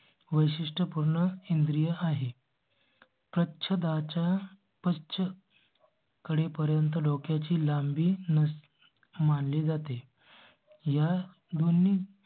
वैशिष्ट्य पूर्ण इंद्रिय आहे. प्रच्छदाच्या पश्च. कडे पर्यंत डोक्या ची लांबी मान ली जाते. या दोन्ही